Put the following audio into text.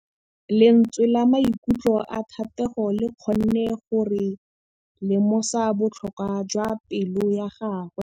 Lentswe la maikutlo a Thategô le kgonne gore re lemosa botlhoko jwa pelô ya gagwe.